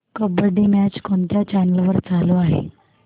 kabaddi match कोणत्या channel वर चालू आहे